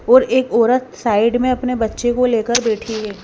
और एक औरत साइड में अपने बच्चे को लेकर बैठी है।